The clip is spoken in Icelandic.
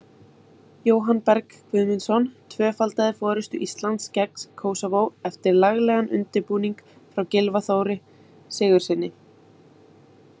Jóhann Berg Guðmundsson tvöfaldaði forystu Íslands gegn Kósóvó eftir laglegan undirbúning frá Gylfa Þóri Sigurðssyni.